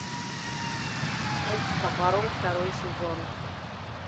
коп с топором второй сезон